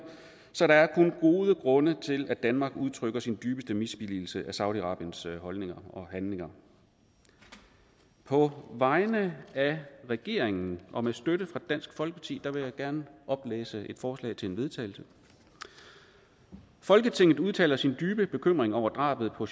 så der er kun gode grunde til at danmark udtrykker sin dybeste misbilligelse af saudi arabiens holdninger og handlinger på vegne af regeringen og med støtte fra dansk folkeparti vil jeg gerne oplæse et forslag til vedtagelse folketinget udtaler sin dybe bekymring over drabet på